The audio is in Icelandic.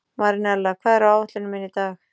Marinella, hvað er á áætluninni minni í dag?